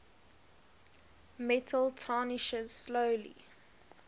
metal tarnishes slowly